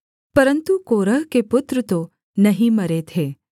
परन्तु कोरह के पुत्र तो नहीं मरे थे